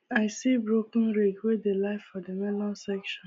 i see broken rake wey dey lie for the melon section